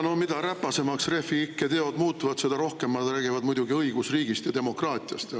Jaa, no mida räpasemaks Refi ikke teod muutuvad, seda rohkem nad räägivad muidugi õigusriigist ja demokraatiast.